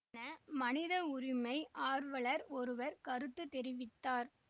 என மனித உரிமை ஆர்வலர் ஒருவர் கருத்து தெரிவித்தார்